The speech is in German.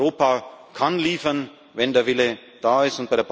Europa kann liefern, wenn der Wille da